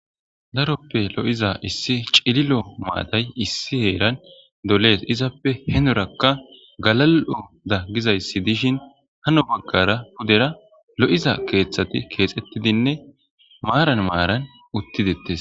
Daroppe lo'iza issi cililo maatay issi heeran doles izappe henorakka galal'o da gizayssi dishin hano boggara pudera lo'iza keeththati keexettidinne maaran maaran uttidettes.